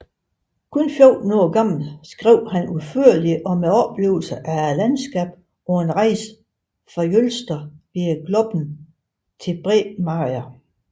Bare 14 år gammel skrev han udførligt om oplevelsen af landskabet på en rejse fra Jølster via Gloppen til Bremanger